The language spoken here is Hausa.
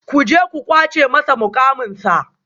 Ku je ku kwace masa mukamansa